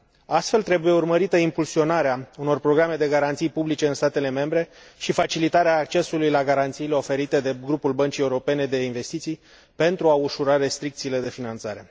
Astfel, trebuie urmărită impulsionarea unor programe de garanții publice în statele membre și facilitarea accesului la garanțiile oferite de grupul Băncii Europene de Investiții pentru a ușura restricțiile de finanțare.